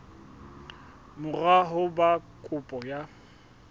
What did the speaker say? mora ho ba kopo ya